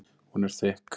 Hún er þykk.